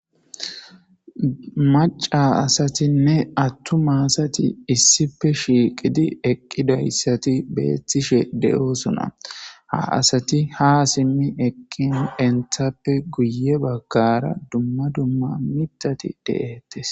Maca asatinne attuma asati issife shiiqidi eqqidayssati beettishe de,oosona ha asati ha simmi eqqin enthappe guye baggara dumma dumma mitati deeettes.